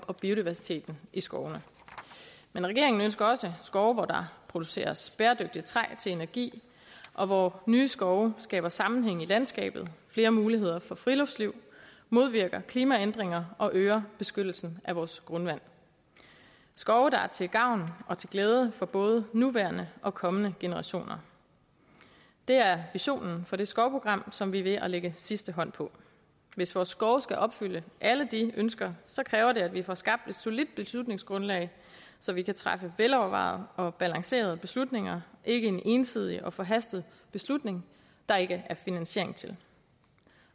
og biodiversiteten i skovene men regeringen ønsker også skove hvor der produceres bæredygtigt træ til energi og hvor nye skove skaber sammenhæng i landskabet flere muligheder for friluftsliv modvirker klimaændringer og øger beskyttelsen af vores grundvand skove der er til gavn og til glæde for både nuværende og kommende generationer er visionen for det skovprogram som vi er ved at lægge sidste hånd på hvis vores skove skal opfylde alle de ønsker kræver det at vi får skabt et solidt beslutningsgrundlag så vi kan træffe velovervejede og balancerede beslutninger ikke en ensidig og forhastet beslutning der ikke er finansiering til